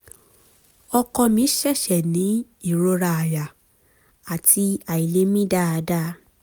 ọkọ mi ṣẹ̀ṣẹ̀ ní ìrora àyà àti àìlè mí dáadáa